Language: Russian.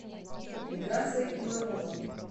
миграция иванова